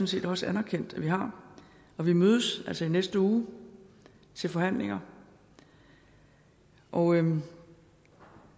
set også anerkendt vi har og vi mødes altså i næste uge til forhandlinger og